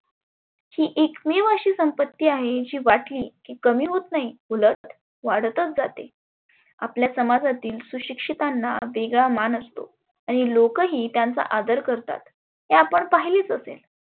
ही एकमेव अशी संपत्ती आहे की वाटली की कमी होत नाही उलट वाढतच जाते. आपल्या समाजातील सुशिक्षीतांना वेगळा मान असतो. आणि लोकही त्यांचा आदर करतात. ते आपण पाहिलेच असेल.